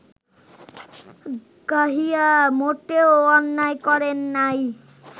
গাহিয়া মোটেও অন্যায় করেন নাই